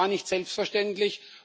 Das war nicht selbstverständlich.